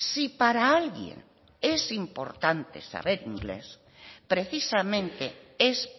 si para alguien es importante saber inglés precisamente es